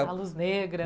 A luz negra.